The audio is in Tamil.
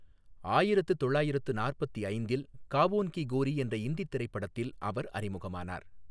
ஆயிரத்து தொள்ளாயிரத்து நாற்பத்தி ஐந்தில் காவோன் கி கோரி என்ற இந்தி திரைப்படத்தில் அவர் அறிமுகமானார்.